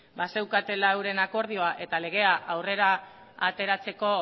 bazeukatela euren akordioa eta legea aurrera ateratzeko